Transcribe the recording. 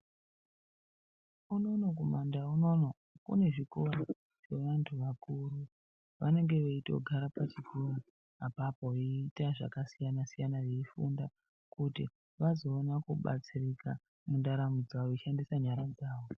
Unono kumandau unono kune zvikora zveantu akuru vanenge veitogara pazvikora apapo veiita zvakasiyana siyana veifunda kuti vazoona kubatsirika mundaramo dzavo veishandisa nyara dzavo.